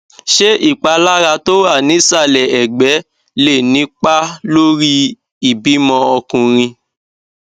ṣé ìpalára tó wà nísàlẹ ẹgbe lè nípa lórí ìbímọ ọkùnrin